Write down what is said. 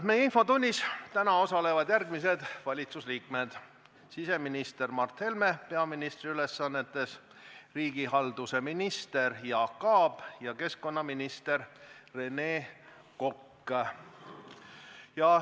Meie infotunnis osalevad täna järgmised valitsusliikmed: siseminister Mart Helme peaministri ülesannetes, riigihalduse minister Jaak Aab ja keskkonnaminister Rene Kokk.